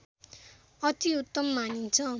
अतिउत्तम मानिन्छ